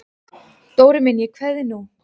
Dóri minn ég kveð þig nú.